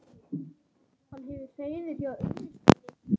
Hann hefur hreiður hjá unnustunni.